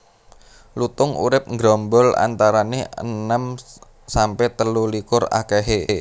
Lutung urip nggerombol antarané enem sampe telu likur akéhé